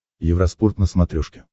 евроспорт на смотрешке